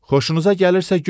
Xoşunuza gəlirsə gülün.